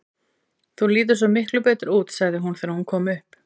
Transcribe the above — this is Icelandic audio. Þú lítur svo miklu betur út, sagði hún þegar hún kom upp.